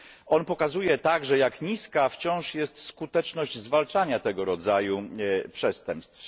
On pokazuje także, jak niska wciąż jest skuteczność zwalczania tego rodzaju przestępstw.